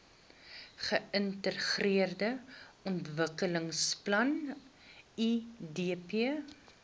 geintegreerde ontwikkelingsplan idp